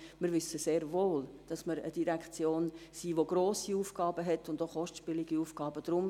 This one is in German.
Wir wissen sehr wohl, dass wir eine Direktion sind, welche grosse Aufgaben und auch kostspielige Aufgaben hat.